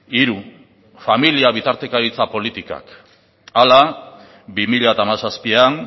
hiru familia bitartekaritza politikak hala bi mila hamazazpian